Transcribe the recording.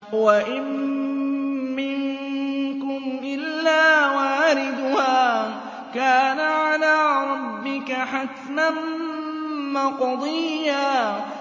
وَإِن مِّنكُمْ إِلَّا وَارِدُهَا ۚ كَانَ عَلَىٰ رَبِّكَ حَتْمًا مَّقْضِيًّا